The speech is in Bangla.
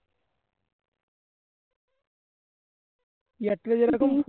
এয়ারটেল এ যেরকম